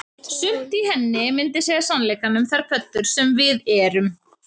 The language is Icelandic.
Sumt í henni myndi segja sannleikann um þær pöddur sem við erum